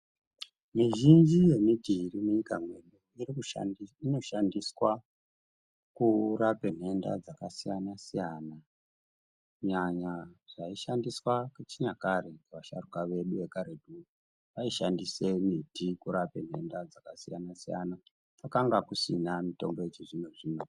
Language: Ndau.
Mizhinji yemiti iri munyika mwedu irikusha inoshandiswa kurape nhenda dzakasiyana-siyana. Kunyanya zvaishandiswa kuchinyakare kuvasharuka vedu vekaretu vaishandise miti kurape nhenda dzakasiyana-siyana, kwakanga kusina mitombo yechizvino-zvino.